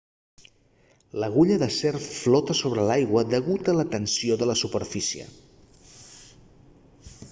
l'agulla d'acer flota sobre l'aigua degut a la tensió de la superfície